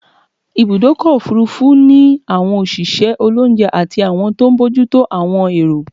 Ibùdọ́kọ̀ òfurufú ni àwọn òṣìṣẹ́ olóúnje àti àwọn tó n bójútó àwọn èrò